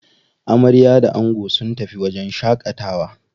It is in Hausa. Amarya da ango sun tafi wajen shaƙatawa.